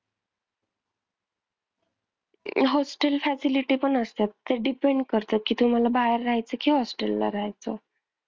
Hostel facility पण असतात ते depend करतात कि तुम्हाला बाहेर रहायचं कि hostel ला रहायचं?